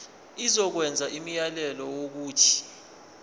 izokwenza umyalelo wokuthi